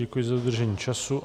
Děkuji za dodržení času.